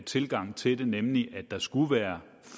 tilgang til det nemlig at der skulle være